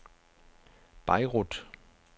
Beirut